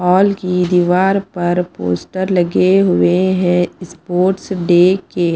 Hall की दीवार पर पोस्टर लगे हुएं हैं स्पोर्ट्स डे के।